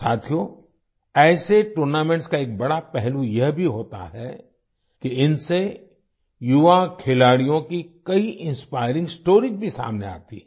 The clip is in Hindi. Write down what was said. साथियो ऐसे टूर्नामेंट्स का एक बड़ा पहलू यह भी होता है कि इनसे युवा खिलाड़ियों की कई इंस्पायरिंग स्टोरीज भी सामने आती हैं